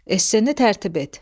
Esseni tərtib et.